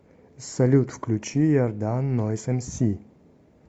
салют включи иордан нойз эмси